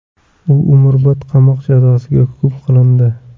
U umrbod qamoq jazosiga hukm qilindi .